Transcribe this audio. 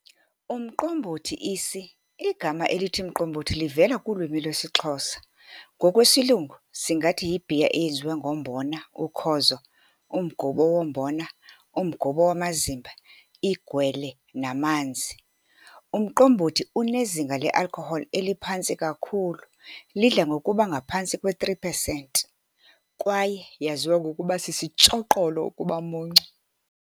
Umqombothi isi, igama elithi mqombothi livela kulwimi lwesiXhosa, ngokwesilungu singathi yi-beer eyenziwe ngombona, ukhozo, umgubo wombona, umgubo wamazimba, igwele namanzi. Umqombothi unezinga le-alcohol eliphantsi kakhulu, lidla ngokuba ngaphantsi kwe-3 pesenti kwaye yaziwa ngokuba sisitshoqolo ukubamuncu.